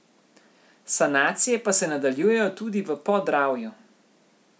Sanacije pa se nadaljujejo tudi v Podravju.